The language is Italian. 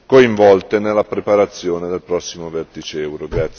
coinvolte nella preparazione del prossimo vertice euro.